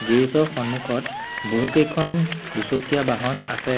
Garage ৰ সন্মুখত বহু কেইখন দুচকীয়া বাহন আছে।